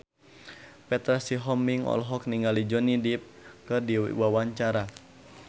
Petra Sihombing olohok ningali Johnny Depp keur diwawancara